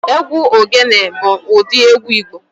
Egwu ogene bụ ụdị egwu Igbo